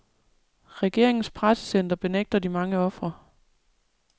Regeringens pressecenter benægter de mange ofre.